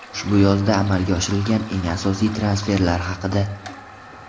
Ushbu yozda amalga oshirilgan eng asosiy transferlar haqida !